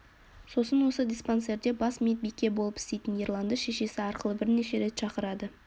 сосын осы диспансерде бас медбике болып істейтін ерланды шешесі арқылы бірнеше рет шақырады